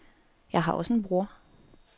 Jeg har også en bror.